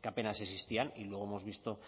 que apenas existían y luego hemos visto